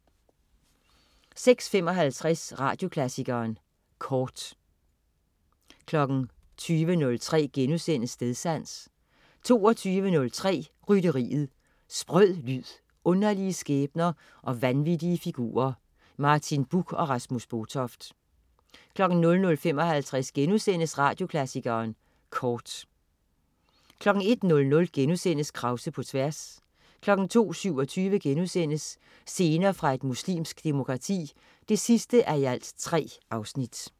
16.55 Radioklassikeren Kort 20.03 Stedsans* 22.03 Rytteriet. Sprød lyd, underlige skæbner og vanvittige figurer. Martin Buch og Rasmus Botoft 00.55 Radioklassikeren Kort* 01.00 Krause på tværs* 02.27 Scener fra et muslimsk demokrati 3:3*